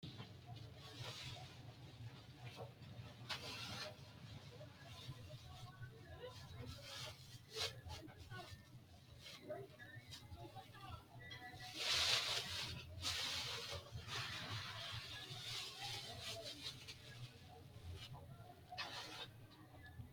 Tini leleitano farisano mitimate ganiba yateni amonote mine maganonisa ayirisateni woyi farisidhani afanitanoha ikana farisidhano fariso magoanu ayirigira manu alibani farisidhani no.